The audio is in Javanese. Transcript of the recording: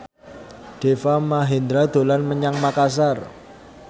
Deva Mahendra dolan menyang Makasar